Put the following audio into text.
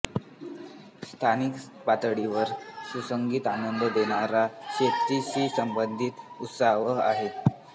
स्थानिक पातळीवर सुगीचा आनंद देणारा शेती शी संबंधित उत्सव आहे